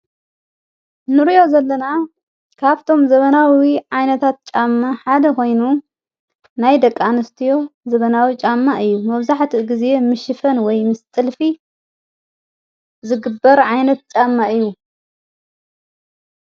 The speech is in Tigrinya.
ንርዮ ዘለና ካብቶም ዘበናዊዊ ዓይነታት ጫማ ሓደ ኾይኑ ናይ ደቃንስትዮ ዘበናዊ ጫማ እዩ መብዛሕቲ ጊዜ ምሽፈን ወይ ምስ ጢልፊ ዝግበር ዓይነት ጫማ እዩ።